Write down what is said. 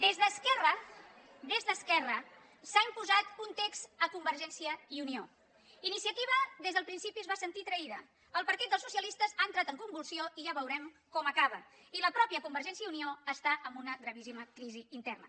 des d’esquerra s’ha imposat un text a convergència i unió iniciativa des del principi es va sentir traïda el partit dels socialistes ha entrat en convulsió i ja veurem com acaba i la mateixa convergència i unió està en una gravíssima crisi interna